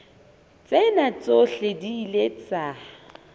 tsena tsohle di ile tsa